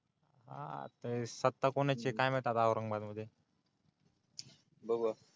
हा ते सत्ता कोणाची काय माहिती आता औंरंगाबादमध्ये बघूया